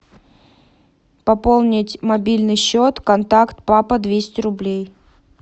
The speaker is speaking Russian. пополнить мобильный счет контакт папа двести рублей